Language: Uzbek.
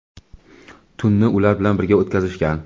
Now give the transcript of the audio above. tunni ular bilan birga o‘tkazishgan.